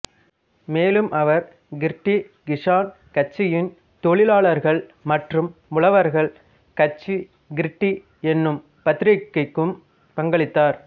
மேலும் அவர் கிர்டி கிசான் கட்சியின் தொழிலாளர்கள் மற்றும் உழவர்கள் கட்சி கிர்டி என்னும் பத்திரிக்கைக்கும் பங்களித்தார்